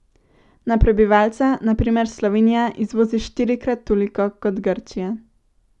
Na prebivalca na primer Slovenija izvozi štirikrat toliko kot Grčija.